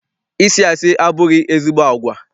Ịsị asị abụghị ezigbo agwa.